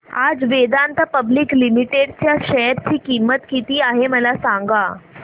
आज Vedanta public limited च्या share ची किंमत किती आहे मला सांगा